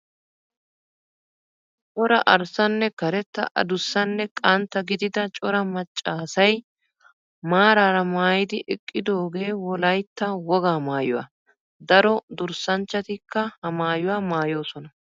Cora arssanne karetta adussanne qantta gidida cora macxa asyi maraara maayidi eqqidooge wolayitya wogaa maayyuwaa. Daro durssanchchatikka ha maayyuwaa maayyoosonaa.